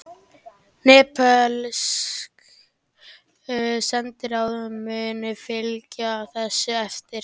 Nepölsk sendiráð munu fylgja þessu eftir